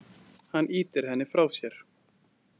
Hann ýtir henni frá sér.